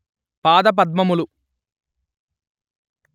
పాదపద్మములు